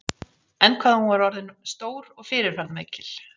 En hvað hún var öll orðin stór og fyrirferðarmikil.